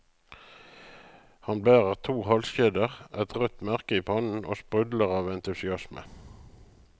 Han bærer to halskjeder, et rødt merke i pannen og sprudler av entusiasme.